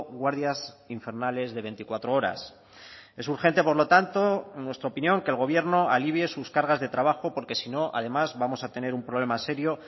guardias infernales de veinticuatro horas es urgente por lo tanto en nuestra opinión que el gobierno alivie sus cargas de trabajo porque si no además vamos a tener un problema serio